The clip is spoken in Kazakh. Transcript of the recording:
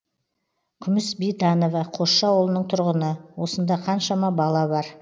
күміс бейтанова қосшы ауылының тұрғыны осында қаншама бала бар